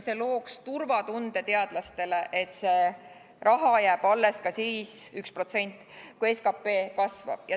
See looks teadlastele turvatunde, et see raha jääb alles ka siis, kui SKT kasvab.